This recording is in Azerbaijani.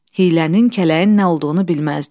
Hiylənin, kələyin nə olduğunu bilməzdi.